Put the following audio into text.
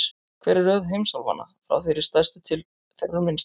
Hver er röð heimsálfanna, frá þeirri stærstu til þeirrar minnstu?